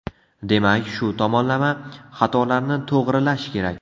Demak, shu tomonlama xatolarni to‘g‘rilash kerak.